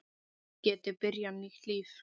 Geti byrjað nýtt líf.